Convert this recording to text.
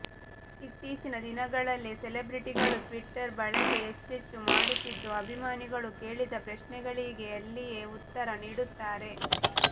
ಇತ್ತೀಚಿನ ದಿನಗಲ್ಲಿ ಸೆಲಬ್ರೆಟಿಗಳು ಟ್ವಿಟ್ಟರ್ ಬಳಕೆ ಹೆಚ್ಚೆಚ್ಚು ಮಾಡುತ್ತಿದ್ದು ಅಭಿಮಾನಿಗಳು ಕೇಳಿದ ಪ್ರಶ್ನೆಗಳಿಗೆ ಅಲ್ಲಿಯೇ ಉತ್ತರ ನೀಡುತ್ತಾರೆ